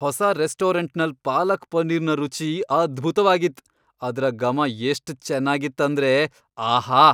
ಹೊಸ ರೆಸ್ಟೋರೆಂಟ್ ನಲ್ ಪಾಲಕ್ ಪನೀರ್ನ ರುಚಿ ಅದ್ಬುತವಾಗಿತ್. ಅದ್ರ ಗಮ ಎಷ್ಟ್ ಚೆನ್ನಾಗಿತ್ ಅಂದ್ರೆ ಆಹಾ...